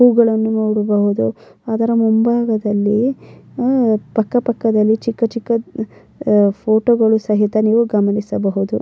ಹೂವುಗಳನ್ನು ನೋಡಬಹುದು ಅದರ ಮುಂಭಾಗದಲ್ಲಿ ಪಕ್ಕ ಪಕ್ಕದಲ್ಲಿ ಚಿಕ್ಕ ಚಿಕ್ಕ ಫೋಟೋಗಳು ಸಹಿತ ನೀವು ಗಮನಿಸಬಹುದು-